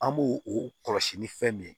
An b'o o kɔlɔsi ni fɛn min ye